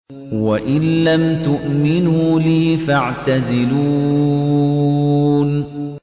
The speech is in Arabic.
وَإِن لَّمْ تُؤْمِنُوا لِي فَاعْتَزِلُونِ